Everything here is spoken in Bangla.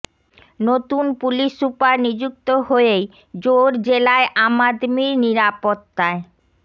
নতুন পুলিশ সুপার নিযুক্ত হয়েই জোর জেলায় আম আদমির নিরাপত্তায়